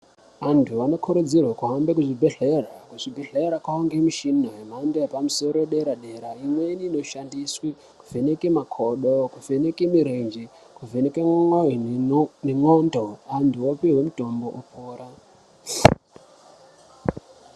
Antu anokurudzirwa kuhambe kuzvibhadhlera. Kuzvibhadhlera kwavane mishina yemhando yepamusoro dera-dera. Imweni inoshandiswe kuvheneke makodo, kuvheneke mirenje, kuvheneke ne ndxondo, antu opihwe mitombo opora.